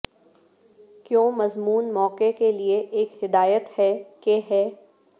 کیوں مضمون موقع کے لئے ایک ہدایت ہے کہ ہے